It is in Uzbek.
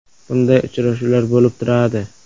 Bunday uchrashuvlar bo‘lib turadi.